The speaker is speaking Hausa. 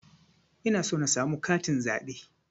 Ina so na samu katin zaɓe